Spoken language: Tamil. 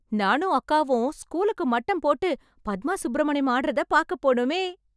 நானும் அக்காவும் ஸ்கூலுக்கு மட்டம் போட்டு பத்மா சுப்ரமணியம் ஆடறதை பார்க்கப் போனோமே.